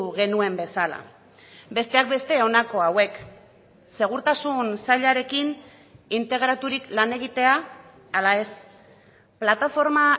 genuen bezala besteak beste honako hauek segurtasun sailarekin integraturik lan egitea ala ez plataforma